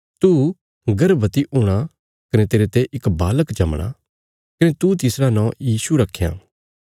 तू गर्भवति हूणा कने तेरते इक बालक जमणा कने तू तिसरा नौं यीशु रखयां